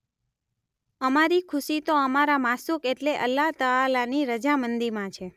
અમારી ખુશી તો અમારા માશૂક એટલે અલ્લાહ તઆલાની રઝામંદીમાં છે.